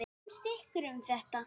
Hvað finnst ykkur um þetta?